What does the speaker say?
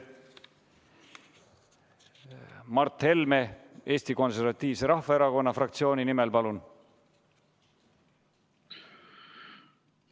Mart Helme Eesti Konservatiivse Rahvaerakonna fraktsiooni nimel, palun!